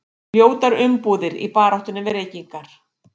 Ljótar umbúðir í baráttunni við reykingar